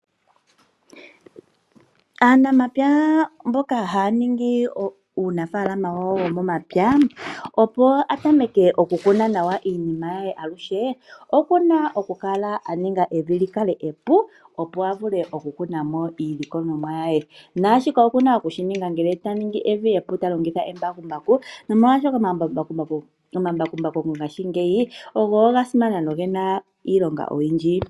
Aanamapya mboka haya ningi uunafaalama wawo womomapya opo atameke oku kuna naw iinima ye aluhe okuna okukala aninga evi likale epu opo avule oku kunamo iilikolomwa ye ,shika okuna okushininga ngele talingitha embakumbaku oshoka omambakumbaku mongaashingeyi ogo gasimana nogena iilonga oyindji.